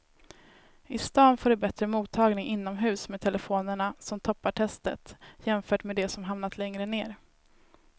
I stan får du bättre mottagning inomhus med telefonerna som toppar testet jämfört med de som hamnat längre ner.